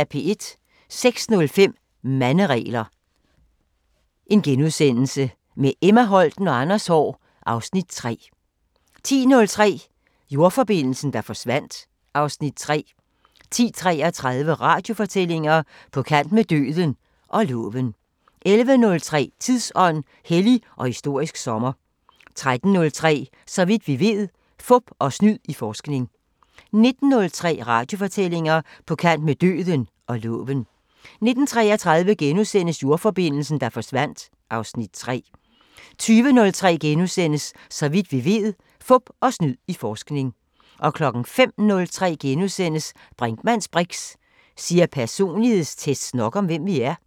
06:05: Manderegler – med Emma Holten og Anders Haahr (Afs. 3)* 10:03: Jordforbindelsen, der forsvandt (Afs. 3) 10:33: Radiofortællinger: På kant med døden – og loven 11:03: Tidsånd: Hellig og historisk sommer 13:03: Så vidt vi ved: Fup og snyd i forskning 19:03: Radiofortællinger: På kant med døden – og loven 19:33: Jordforbindelsen, der forsvandt (Afs. 3)* 20:03: Så vidt vi ved: Fup og snyd i forskning * 05:03: Brinkmanns briks: Siger personlighedstests nok om, hvem vi er? *